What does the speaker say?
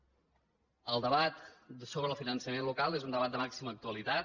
el debat sobre el finançament local és un debat de màxima actualitat